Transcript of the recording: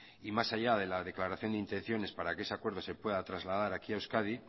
y más allá de la declaración de intenciones para que ese acuerdo se pueda trasladar aquí a euskadi